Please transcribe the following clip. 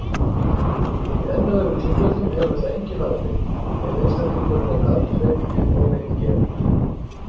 Í enn öðrum tilfellum hefur það engin áhrif ef einstaklingurinn er arfhreinn um ónýtt gen.